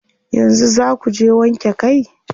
Yanzu zaa kuje wanke kai?